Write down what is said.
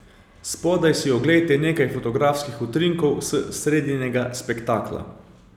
Spodaj si oglejte nekaj fotografskih utrinkov s sredinega spektakla.